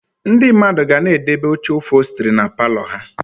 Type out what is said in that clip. Ndị mmadụ ga na-edobe oche ụphọlstri na palọ ha